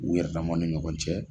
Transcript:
U yɛrɛdama ni ɲɔgɔn cɛ